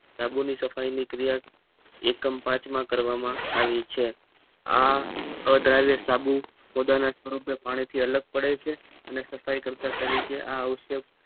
સાબુ ની સફાઈ ની ક્રિયા એકમ પાંચમાં કરવામાં આવી છે આ અદ્રાવ્ય સાબુ બધાં ના પાણી થી અલગ પડે છે સફાઈ કરતા તરીકે આક્ષેપ